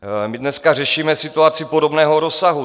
My dneska řešíme situaci podobného rozsahu.